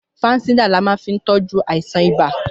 Fansidar là máa fi ń tọ́jú àìsàn ibà